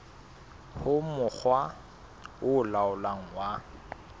ho mokga o laolang wa